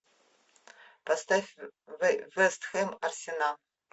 поставь вест хэм арсенал